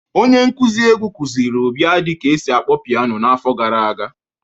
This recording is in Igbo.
Onye nkuzi egwu kuziri Obiadi ka esi akpọ piano n'afọ gara aga